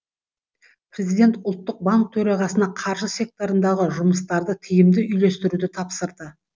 президент ұлттық банк төрағасына қаржы секторындағы жұмыстарды тиімді үйлестіруді тапсырды